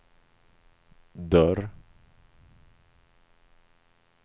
dörr